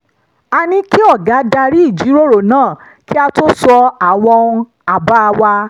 a ní kí ọ̀gá darí ìjíròrò náà kí a tó sọ àwọn àbá wa